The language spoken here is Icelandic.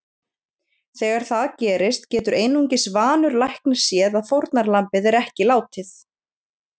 Þegar það gerist getur einungis vanur læknir séð að fórnarlambið er ekki látið.